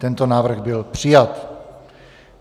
Tento návrh byl přijat.